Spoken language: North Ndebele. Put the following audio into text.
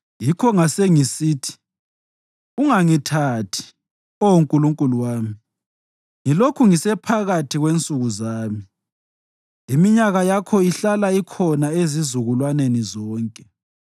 Yikho ngasengisithi, “Ungangithathi, Oh Nkulunkulu wami, ngilokhu ngisephakathi kwensuku zami; iminyaka yakho ihlala ikhona ezizukulwaneni zonke.